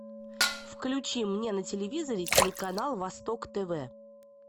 включи мне на телевизоре телеканал восток тв